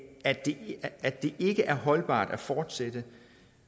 at det at det ikke er holdbart at fortsætte